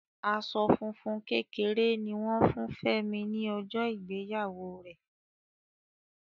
Aṣọ funfun kékeré ni wọn fún Femi ni ọjọ ìgbéyàwó rẹ.